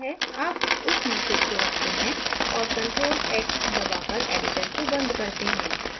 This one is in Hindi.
अब उस message को रखते हैं और ctrl + x दबाकर editor को बंद करते हैं